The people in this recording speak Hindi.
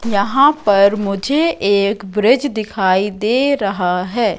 यहां पर मुझे एक ब्रिज दिखाई दे रहा है।